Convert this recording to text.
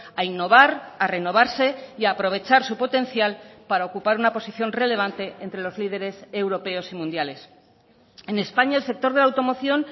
a innovar a renovarse y a aprovechar su potencial para ocupar una posición relevante entre los líderes europeos y mundiales en españa el sector de la automoción